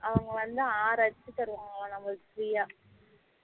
அவங்க வந்து ஆறு அச்சு தருவாங்கலாம் நம்மளுக்கு free யா